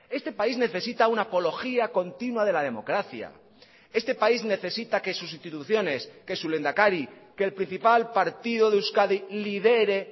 este país necesita una apología continua de la democracia este país necesita que sus instituciones que su lehendakari que el principal partido de euskadi lidere